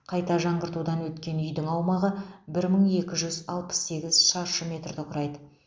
қайта жаңғыртудан өткен үйдің аумағы бір мың екі жүз алпыс сегіз шаршы метрді құрайды